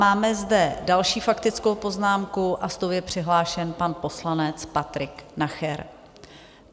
Máme zde další faktickou poznámku a s tou je přihlášen pan poslanec Patrik Nacher.